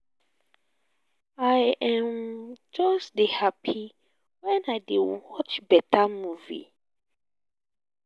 i um just dey happy wen i dey watch beta movie